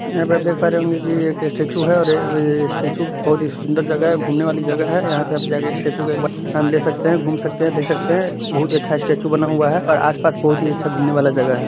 यहाँ पे देख पा रहे होंगे की ये एक स्टेचू है और स्टेचू बहुत ही सुंदर जगह है घूमने वाली जगह है यहाँ पे जाके स्टेचू को एक बार नाम ले सकते है घूम सकते है देख सकते है बहुत ही अच्छा स्टेचू बना हुआ हैं और आस-पास बहुत ही अच्छा घूमने वाला जगह है।